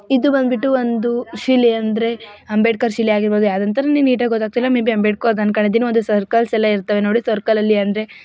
ಇದು ಬಂದ್ಬಿಟ್ಟು ಒಂದು ಶಿಲೆ ಅಂದ್ರೆ ಅಂಬೇಡ್ಕರ್ ಶಿಲೆ ಆಗಿರಬಹುದು ಯಾವ್ದು ಅಂತ ಗೊತ್ತಾಗ್ತಿಲ್ಲ ಮೇ ಬಿ ಅಂಬೇಡ್ಕರ್ದು ಅನ್ಕೊಂಡ್ ಇದೀನಿ ಒಂದು ಸರ್ಕಲ್ ಸರ್ಕಲ್ ಅಲ್ಲಿ ಅಂದ್ರೆ--